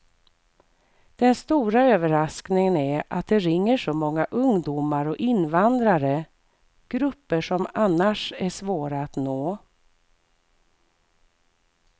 Den stora överraskningen är att det ringer så många ungdomar och invandrare, grupper som annars är svåra att nå.